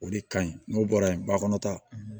O de ka ɲi n'o bɔra yen bakɔnɔta